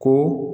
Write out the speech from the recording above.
Ko